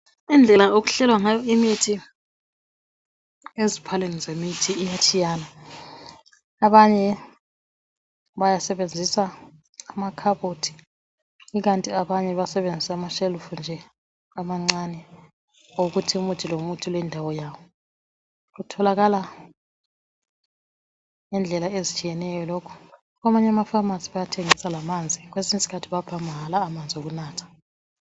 Indlela okuhlelwa ngayo imithi eziphaleni zemithi iyatshiyana Abanye bayasebenzisa amakhabothi ikanti abanye basebenzisa amashelufu nje amancane okokuthi umuthi lomuthi ulendawo yawo Kutholakala ngendlela ezitshiyeneyo lokhu Kwamanye ama pharmacy bayathengisa lamanzi kwesinye isikhathi bapha mahala la amanzi okunatha